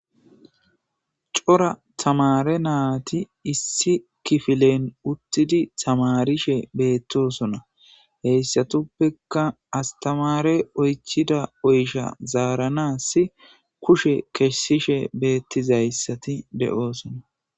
Cora tamare naati issi kifilen uttidi tamarishe beettosona heyssatuppeka astamare oychida oysha zaaranasi kushe keshsishe beettizayssati de'oosona